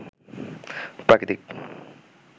প্রাকৃতিক